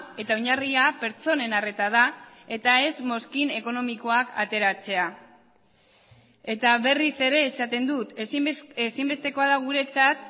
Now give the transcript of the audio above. eta oinarria pertsonen arreta da eta ez mozkin ekonomikoak ateratzea eta berriz ere esaten dut ezinbestekoa da guretzat